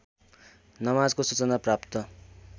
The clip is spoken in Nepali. नमाजको सूचना प्राप्त